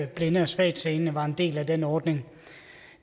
blinde og svagtseende var en del af den ordning